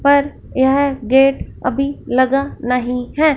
पर यह गेट अभी लगा नहीं है।